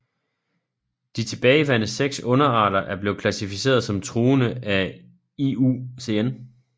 De tilbageværende seks underarter er blevet klassificeret som truede af IUCN